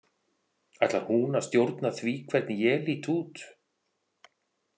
Ætlar hún að stjórna því hvernig ég lít út?